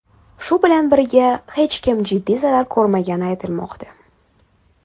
Shu bilan birga, hech kim jiddiy zarar ko‘rmagani aytilmoqda.